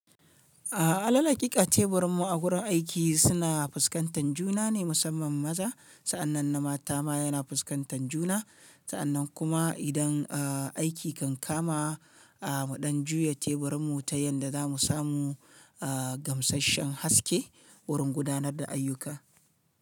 Alal hakika teburin mu a wurin aiki suna fuskantan juna ne musamman maza. Sa'annan na mata ma yana fuskantan juna. Sa'annan kuma idan aiki kan kama a mu ɗan juya teburin mu ta yanda za mu samu gamsashshen haske wurin gudanar da ayyuka.